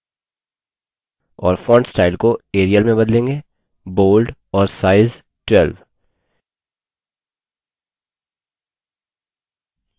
और font style को arial में बदलेंगे bold और size 12